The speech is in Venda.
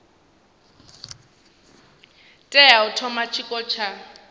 tea u thoma tshiko tsha